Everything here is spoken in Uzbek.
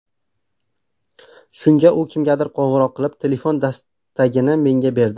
Shunda u kimgadir qo‘ng‘iroq qilib, telefon dastagini menga berdi.